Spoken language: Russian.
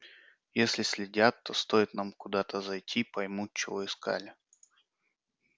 если следят то стоит нам куда-то зайти поймут чего искали